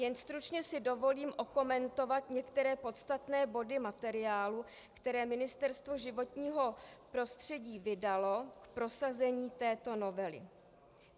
Jen stručně si dovolím okomentovat některé podstatné body materiálu, které Ministerstvo životního prostředí vydalo k prosazení této novely.